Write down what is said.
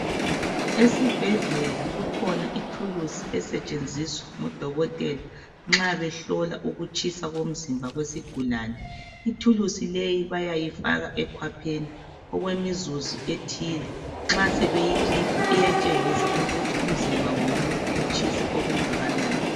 esibhedlela kukhona ithulusi etshenziswa ngo dokotela nxa behlola ukutshisa komzimba wesigulane ithulusi leyi bayayifaka ekhwapheni okwemizuzu ethile nxa sebeyikhipha iyatshengisa ukuthi umzimba womuntu utshisa okungakanani